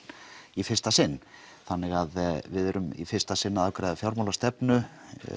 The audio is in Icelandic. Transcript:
í fyrsta sinn þannig við erum í fyrsta sinn að afgreiða fjármálastefnu